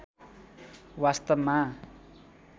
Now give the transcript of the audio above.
वास्‍तवमा